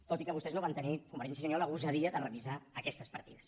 tot i que vostès no van tenir convergència i unió la gosadia de revisar aquestes partides